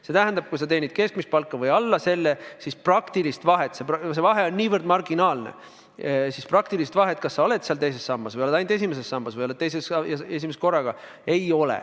See tähendab, et kui sa teenid keskmist palka või alla selle, siis praktilist vahet – see vahe on marginaalne – selles, kas sa oled teises sambas ka või oled ainult esimeses sambas, ei ole.